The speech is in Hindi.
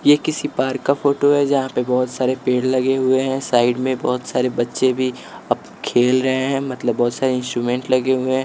ये किसी पार्क का फोटो है जहाँ पे बहुत सारे पेड़ लगे हुए हैं साइड में बहुत सारे बच्चे भी अब खेल रहे हैं मतलब बहुत सारे इंस्ट्रूमेंट लगे हुए हैं।